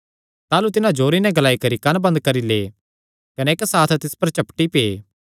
ताह़लू तिन्हां जोरे नैं ग्लाई करी कंन्न बंद करी लै कने इक्क साथ तिस पर झपटी पै